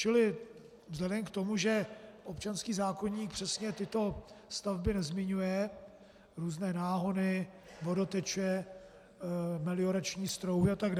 Čili vzhledem k tomu, že občanský zákoník přesně tyto stavby nezmiňuje - různé náhony, vodoteče, meliorační strouhy atd.